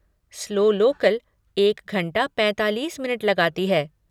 Slow local एक घंटा पैंतालीस मिनट लगाती है।